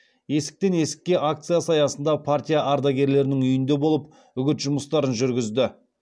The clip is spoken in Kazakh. есіктен есікке акциясы аясында партия ардагерінің үйінде болып үгіт жұмыстарын жүргізді